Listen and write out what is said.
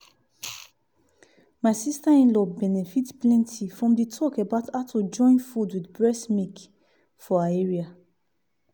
my sister-in-law benefit plenty from the talk about how to join food with breast milk for her area.